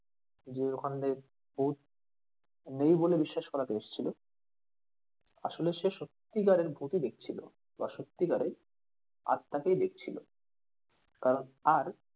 যে ওখান দিয়ে ভুত নেই বলে বিশ্বাস করাতে এসেছিলো আসলে সে সত্যিকারের ভুতই দেখছিল বা সত্যিকারের আত্মাকেই দেখছিলো কারণ আর,